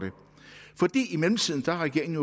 i mellemtiden har regeringen